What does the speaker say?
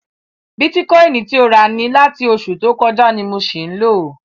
Bitikọini ti o rà ni láti oṣù tó kọjá ni mo ṣì ń lò.